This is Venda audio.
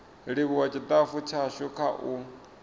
livhuwa tshitafu tshashu kha u